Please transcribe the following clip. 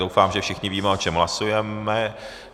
Doufám, že všichni víme, o čem hlasujeme.